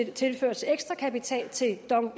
tilføres ekstra kapital til dong